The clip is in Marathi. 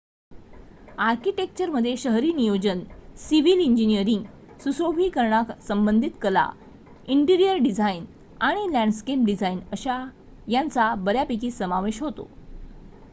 आर्किटेक्चरमध्ये शहरी नियोजन सिव्हील इंजिनीअरिंग सुशोभिकरणासंबंधित कला इन्टिरीअर डिझाइन आणि लॅन्डस्केप डिझाइन यांचा बऱ्यापैकी समावेश होतो